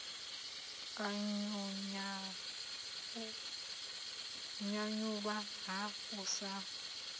u nyanyulwa na u sa